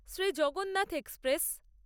Shri Jagannath express